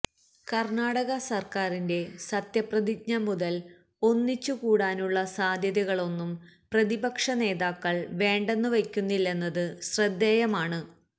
കര്ണാടക സര്ക്കാരിന്റെ സത്യപ്രതിജ്ഞ മുതല് ഒന്നിച്ചു കൂടാനുള്ള സാധ്യതകളൊന്നും പ്രതിപക്ഷ നേതാക്കള് വേണ്ടെന്ന് വയ്ക്കുന്നില്ലെന്നത് ശ്രദ്ധേയമാണ്